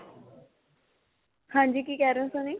ਹਾਂਜੀ, ਕਿ ਕਹਿ ਰਹੇ ਹੋ Sunny?